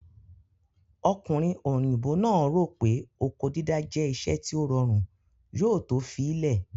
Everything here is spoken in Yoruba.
Ọkùnrin òyìnbó náà rò pé oko dídá jẹ́ iṣẹ́ tí ó rọrùn, yóò to fi í lẹ̀